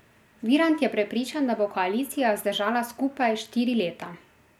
Virant je prepričan, da bo koalicija zdržala skupaj štiri leta.